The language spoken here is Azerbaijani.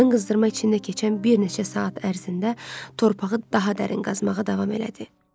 Qadın qızdırma içində keçən bir neçə saat ərzində torpağı daha dərin qazmağa davam elədi.